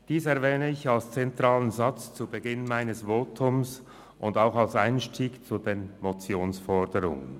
Dies erwähne ich als zentralen Satz zu Beginn meines Votums und auch als Einstieg zu den Motionsforderungen.